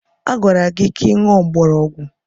Agwara gị ka ị ṅụọ mgbọrọgwụ!